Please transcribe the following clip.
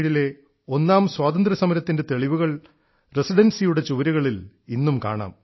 1857 ലെ ഒന്നാം സ്വാതന്ത്ര്യസമരത്തിൻറെ തെളിവുകൾ റസിഡൻസിയുടെ ചുവരുകളിൽ ഇന്നും കാണാം